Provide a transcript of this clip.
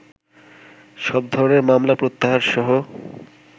সব ধরনের মামলা প্রত্যাহারসহ